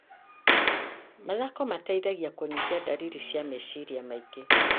Mathako mateithagia kũnyihia ndariri cia meciria maingĩ